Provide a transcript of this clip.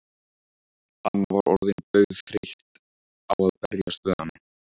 Anna var orðin dauðþreytt á að berjast við hana.